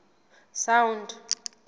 sound